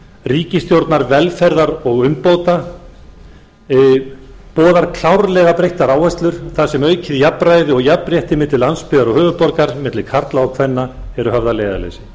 ríkisstjórnar velferðar og umbóta boðar klárlega breyttar áherslur þar sem aukið jafnræði og jafnrétti milli landsbyggðar og höfuðborgar milli karla og kvenna eru höfð að leiðarljósi